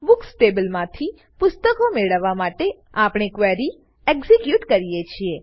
books ટેબલમાંથી પુસ્તકો મેળવવા માટે આપણે ક્વેરી એક્ઝીક્યુટ કરીએ છીએ